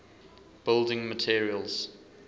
building materials